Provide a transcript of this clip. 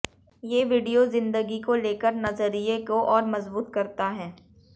ये वीडियो जिंदगी को लेकर नजरिये को और मजबूत करता है